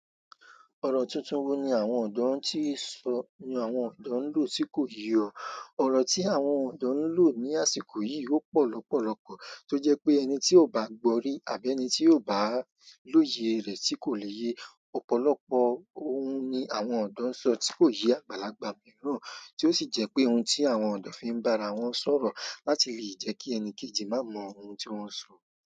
Ọ̀rọ̀ tuntun wo ni ọ̀dọ́ nlò tí nso, ni àwọn ọ̀dọ́ nlò tí kò yé o, ọ̀rọ̀ tí àwọn ọ̀dọ́ nlò ní àsìkò yìí ó pọ̀ lọ́pọ̀lọ́pọ̀ tí o jẹ́ pé ẹni tí o bá gbọ́ rí àbí ẹni tí o bá lóye rẹ̀ tí kò pé yé. Ọ̀pọ̀lọpọ̀ ohun ni àwọn ọ̀dọ́ ń sọ tí kò yé àgbàlagbà mìíràn, tí ó sì jẹ́ pé ohun tí àwọn ọ̀dọ́ fi ń bá ara wọn sọ̀rọ̀ láti lè jẹ́ kí ẹni kejì má mọ ohun tí wọ́n ń sọ.